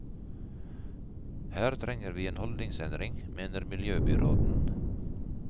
Her trenger vi en holdningsendring, mener miljøbyråden.